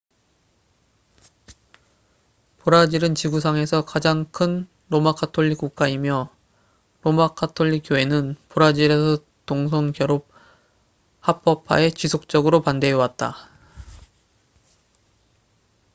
브라질은 지구상에서 가장 큰 로마 가톨릭 국가이며 로마 가톨릭교회는 브라질에서 동성 결혼 합법화에 지속적으로 반대해 왔다